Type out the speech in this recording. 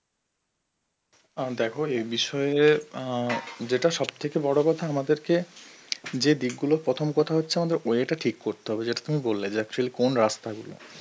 অ্যাঁ দেখো এই বিষয়ে অ্যাঁ যেটা সবথেকে বড় কথা আমাদেরকে যে দিকগুলো প্রথম কথা হচ্ছে আমাদের way টা ঠিক করতে যেটা তুমি বললে যে actual কোন রাস্তা গুলো